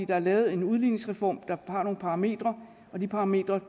der er lavet en udligningsreform der har nogle parametre og de parametre